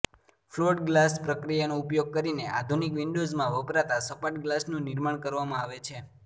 float glass પ્રક્રિયાનો ઉપયોગ કરીને આધુનિક વિંડોઝમાં વપરાતા સપાટ ગ્લાસનું નિર્માણ કરવામાં આવે છે